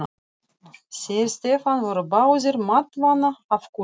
Þeir Stefán voru báðir máttvana af kulda.